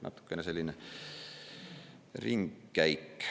Natukene selline ringkäik.